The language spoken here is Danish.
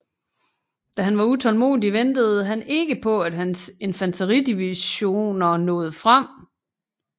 Da han var utålmodig ventede han ikke på at hans infanteridivisioner nåede frem